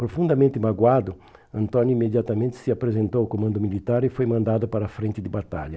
Profundamente magoado, Antônio imediatamente se apresentou ao comando militar e foi mandado para a frente de batalha.